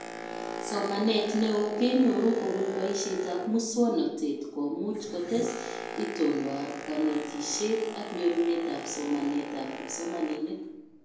Somanet neo kenyoru kobun boishetab muswonotet komuch kotes itondoab kanetishet ak nyorunetab somanetab kipsomaninik